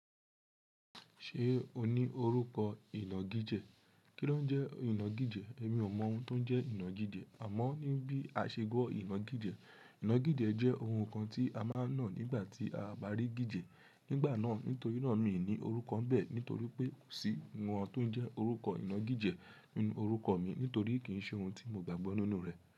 Ṣé o ní orúkọ ìnagíjẹ? Kí ló ń jẹ́ ìnagíjẹ? Èmi ò mọ ohun tó ń jẹ́ ìnagíjẹ, àmọ́ ní bí a ṣe gbọ́ ìnagíjẹ. Ìnagíjẹ jẹ́ ohun kan tí a máa ń ná nígbà tí a bá rí gíjẹ. Nígbà náà, nítorí náà mi ò ní orúkọ n bẹ́ẹ̀ nítorí pé kò sí ohun tó ń jẹ́ orúkọ ìnagíjẹ nínú orúkọ mi nítorí kì í ṣe ohun tí mo gbàgbọ́ nínú rẹ̀.